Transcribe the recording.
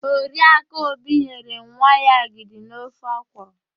Oriakụ Obi nyere nwa ya agịdi na ofe ọkwụrụ.